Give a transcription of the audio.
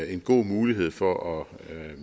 en god mulighed for at